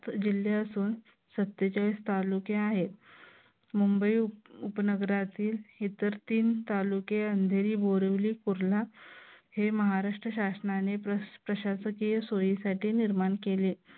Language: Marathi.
जिल्ह्यातून सत्तेचाळीस तालुके आहेत. मुंबई उपनगरातील इतर तीन तालुके अंधेरी बोरिवली कुर्ला हे महाराष्ट्र शासनाने प्रशासकीय सोयीसाठी निर्माण केले.